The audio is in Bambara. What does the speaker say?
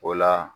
O la